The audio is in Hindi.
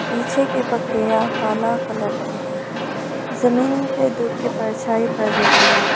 पीछे के बकरियां काला कलर की है जमीन पर धूप की परछाई पड़ रही है।